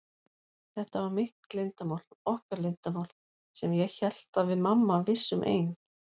Þetta var mitt leyndarmál, okkar leyndarmál, sem ég hélt að við mamma vissum ein.